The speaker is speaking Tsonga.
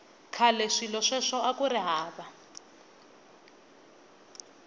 khale swilo sweswo akuri hava